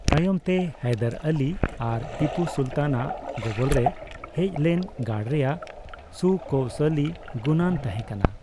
ᱛᱟᱭᱚᱢᱛᱮ ᱦᱟᱭᱫᱟᱨ ᱟᱞᱤ ᱟᱨ ᱴᱤᱯᱩ ᱥᱟᱩᱞᱛᱟᱱ ᱟᱜ ᱜᱚᱵᱚᱞᱨᱮ ᱦᱮᱡ ᱞᱮᱱ ᱜᱟᱲ ᱨᱮᱭᱟᱜ ᱥᱩᱠᱳᱣᱥᱚᱞᱤ ᱜᱩᱱᱟᱱ ᱛᱟᱦᱮᱸ ᱠᱟᱱᱟ ᱾